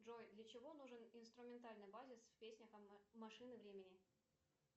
джой для чего нужен инструментальный базис в песнях машины времени